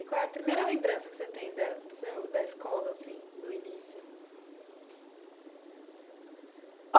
E qual é a primeira lembrança que você tem da do seu da escola assim, do início?